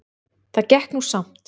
Það gekk nú samt